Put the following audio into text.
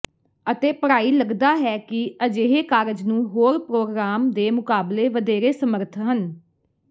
ਅਤੇ ਪੜ੍ਹਾਈ ਲੱਗਦਾ ਹੈ ਕਿ ਅਜਿਹੇ ਕਾਰਜ ਨੂੰ ਹੋਰ ਪ੍ਰੋਗਰਾਮ ਦੇ ਮੁਕਾਬਲੇ ਵਧੇਰੇ ਸਮਰੱਥ ਹਨ